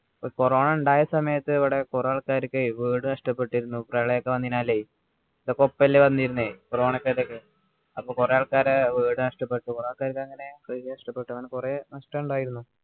corona ഉണ്ടായ സമയത്ത് ഇവിടെ കുറെ ആൾക്കാർക്ക് വീട് നഷ്ടപ്പെട്ടിരുന്നു പ്രളയമൊക്കെ വന്നതിനാലെ ഇത് ഒക്കെ ഒപ്പം അല്ലേ വന്നിരുന്നെ corona ഇതൊക്കെ അപ്പൊ കുറെ ആൾക്കാരെ വീട് നഷ്ടപ്പെട്ടു കുറെ ആൾക്കാർക്ക് അങ്ങനെ നഷ്ടപ്പെട്ടു അങ്ങനെ കുറെ നഷ്ടം ഉണ്ടായിരുന്നു